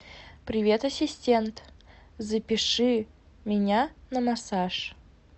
привет ассистент запиши меня на массаж